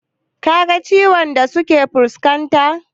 Ka ga ciwukan da suke fuskarta?